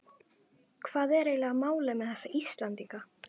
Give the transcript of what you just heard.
Hvað er eiginlega málið með þessa Íslendinga?